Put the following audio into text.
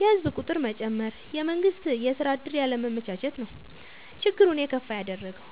የህዝብ ቁጥር መጨመር፣ የመንግስት የስራ ዕድል ያለማመቻቸት ነው። ችግሩን የከፋ ያደረገው።